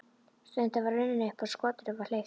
Stundin var runnin upp og skotinu var hleypt af.